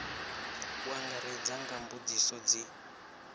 u angaredza nga mbudziso dzi